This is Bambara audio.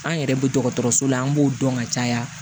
An yɛrɛ bɛ dɔgɔtɔrɔso la an b'o dɔn ka caya